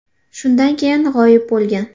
Shundan keyin g‘oyib bo‘lgan.